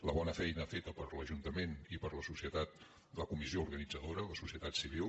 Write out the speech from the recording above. la bona feina feta per l’ajuntament i per la societat la comis·sió organitzadora la societat civil